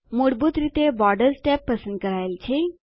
મૂળભૂત રીતે borders tab પસંદ કરાયેલ છે